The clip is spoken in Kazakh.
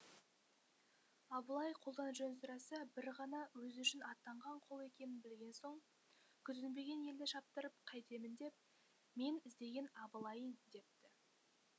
абылай қолдан жөн сұраса бір ғана өзі үшін аттанған қол екенін білген соң күтінбеген елді шаптыртып қайтемін деп мен іздеген абылайың депті